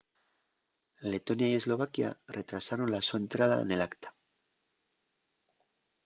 letonia y eslovaquia retrasaron la so entrada nel acta